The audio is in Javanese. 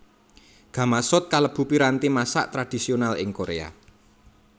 Gamasot kalebu piranti masak tradhisional ing Korea